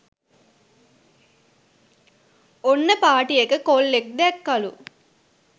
ඔන්න පාටියක කොල්ලෙක් දැක්කලු